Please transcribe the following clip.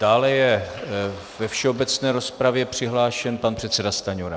Dále je ve všeobecné rozpravě přihlášen pan předseda Stanjura.